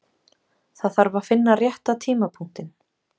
Það þarf að finna rétta tímapunktinn.